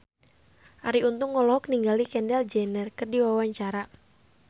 Arie Untung olohok ningali Kendall Jenner keur diwawancara